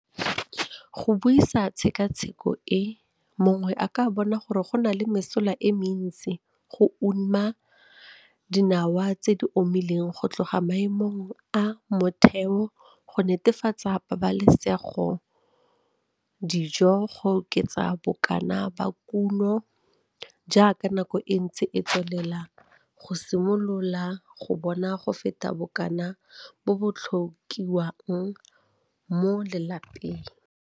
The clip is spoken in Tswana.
Ka go buisa tshekatsheko e mongwe a ka bona gore go na le mesola e mentsi go uma dinawa tse di omileng go tloga maemong a motheo go netefatsa pabalesegodijo go oketsa bokana ba kumo jaaka nako e ntse e tswelela go simolola go bona go feta bokana bo bo tlhokiwang mo lelapeng.